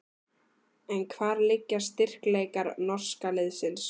En hvar liggja styrkleikar norska liðsins?